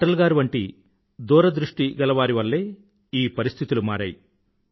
అటల్ గారి వంటి దూరదృష్టిగలవారి వల్లే ఈ పరిస్థితులు మారాయి